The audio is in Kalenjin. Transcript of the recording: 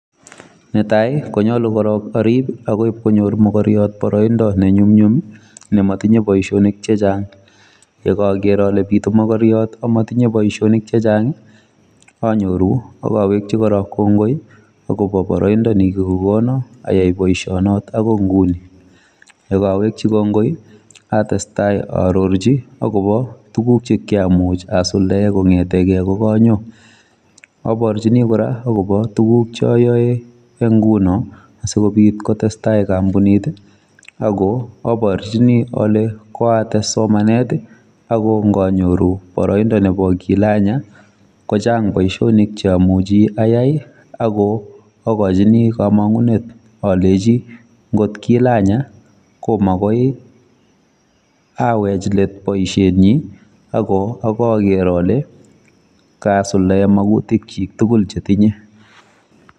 Netai konyolu korok arip akoi ipkonyor mokoriot boroindo nenyumnyum nemotinye boishonik chechang. yekaaker ale pitu mokoriot amatinye boishonik chechang anyoru akawekchi kora kongoi akopo boroindo nekikokono ayai boishonot akoi nguni. Yekaawekchi kongoi atestai aarorchi akopo tuguk chekiamuch asuldae kong'etekei kokanyo. Aporchini kora akopo tuguk chayoe nguno asikopit kotestai kampunit ako aporchini ale kwaates somanet ako nganyoru boroindo nepo kilanya kochang boishonik cheamuchi ayai ako akochini kamang'unet alechi ngot kilanya ko makoi awech let boishenyi ako ako aker ale kasuldae makutikchi tugul chetinye.